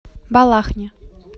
балахне